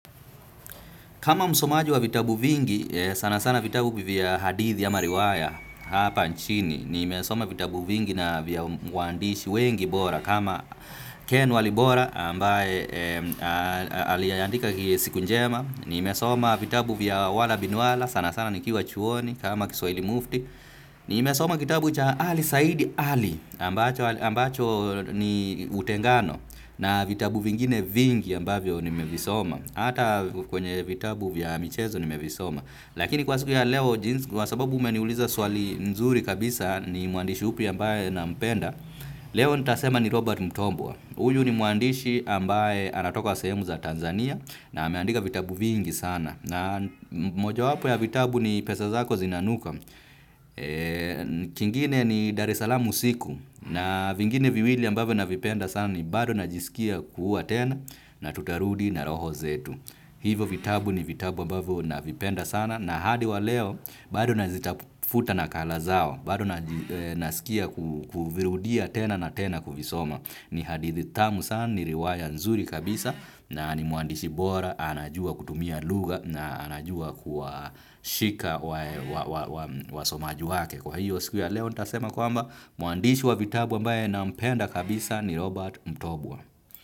Kama msomaji wa vitabu vingi, sanasana vitabu vya hadithi ama riwaya hapa nchini. Nimesoma vitabu vingi na vya waandishi wengi bora. Kama Ken walibora ambaye aliyeandika ki siku njema. Nimesoma vitabu vya wala bin wala sanasana nikiwa chuoni kama kiswaili mufti. Nimesoma kitabu cha ali said ali ambacho ni utengano. Na vitabu vingine vingi ambavyo nimevisoma. Ata kwenye vitabu vya michezo nimevisoma. Lakini kwa siku ya leo jinsi, kwa sababu umeniuliza swali nzuri kabisa ni mwandishi upi ambaye nampenda, leo nitasema ni Robert Mutombwa. Uyu ni mwandishi ambaye anatoka kwa sehemu za Tanzania na ameandika vitabu vingi sana. Na mojawapo ya vitabu ni pesa zako zinanuka. Kingine ni Dar esalam usiku na vingine viwili ambavyo navipenda sana ni bado najisikia kuua tena na tutarudi na roho zetu. Hivo vitabu ni vitabu ambavyo navipenda sana na hadi wa leo bado nazitafuta nakala zao bado nasikia kuvirudia tena na tena kuvisoma. Ni hadithi tamu sana ni riwaya nzuri kabisa na ni mwandishi bora anajua kutumia lugha na anajua kuwashika wasomaji wake. Kwa hiyo siku ya leo nitasema kwamba mwandishi wa vitabu ambaye nampenda kabisa ni Robert Mtobwa.